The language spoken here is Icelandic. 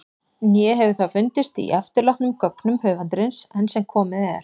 Né hefur það fundist í eftirlátnum gögnum höfundarins- enn sem komið er.